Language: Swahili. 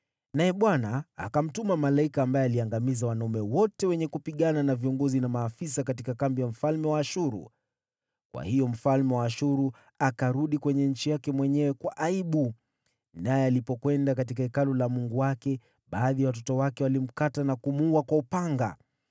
Naye Bwana akamtuma malaika ambaye aliangamiza wanajeshi wote, na viongozi na maafisa katika kambi ya mfalme wa Ashuru. Kwa hiyo, mfalme wa Ashuru akarudi nchini mwake kwa aibu. Naye alipokwenda katika hekalu la mungu wake, baadhi ya watoto wake wakamuua kwa upanga.